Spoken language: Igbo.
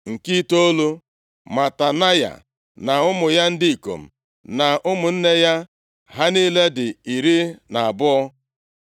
Nke itoolu, Matanaya na ụmụ ya ndị ikom na ụmụnne ya. Ha niile dị iri na abụọ (12).